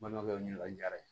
Balimakɛ ɲini ka diyara ye